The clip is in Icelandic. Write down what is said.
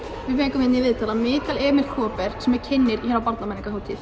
við fengum í viðtal hann Mikael Emil Kaaber sem er kynnir